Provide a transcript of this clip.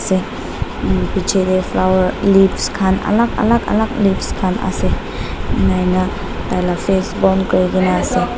Hmm piche tey flower leaves khan alak alak alak leaves khan asey ena hoina taila face bon kurikena asey.